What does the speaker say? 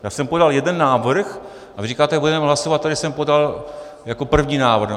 Já jsem podal jeden návrh a vy říkáte, že budeme hlasovat, který jsem podal jako první návrh.